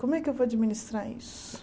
Como é que eu vou administrar isso?